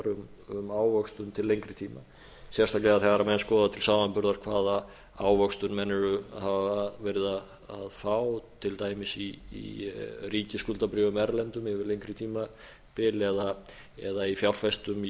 um ávöxtun til lengri tíma sérstaklega þegar menn skoða til samanburðar hvaða ávöxtun menn hafa verið að fá til dæmis í ríkisskuldabréfum erlendum yfir lengri tímabil eða í fjárfestum